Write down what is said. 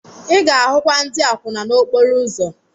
Ị ga-ahụkwa ndị akwụna n'okporo ụzọ.